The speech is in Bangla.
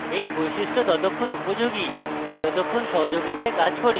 এই বৈশিষ্ট্য ততক্ষন উপযোগী যতক্ষণ সহযোগিতায় কাজ করি